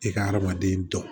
I ka adamaden jɔ